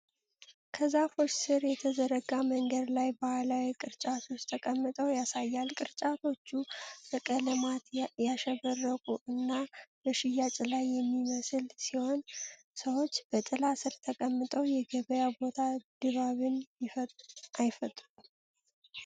ከዛፎች ስር በተዘረጋ መንገድ ላይ ባህላዊ ቅርጫቶች ተቀምጠው ያሳያል፤ ቅርጫቶቹ በቀለማት ያሸበረቁ እና በሽያጭ ላይ የሚመስሉ ሲሆን፣ ሰዎች በጥላ ስር ተቀምጠው የገበያ ቦታ ድባብን አይፈጥሩም?